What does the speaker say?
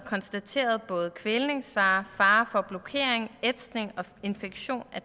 konstateret både kvælningsfare fare for blokering ætsning og infektion af